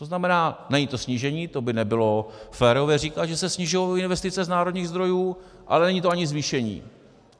To znamená, není to snížení, to by nebylo férové říkat, že se snižují investice z národních zdrojů, ale není to ani zvýšení.